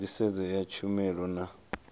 zwa nḓisedzo ya tshumelo na